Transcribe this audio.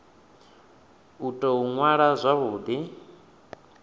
u tou ṅwala zwavhu ḓi